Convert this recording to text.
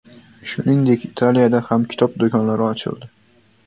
Shuningdek, Italiyada ham kitob do‘konlari ochildi .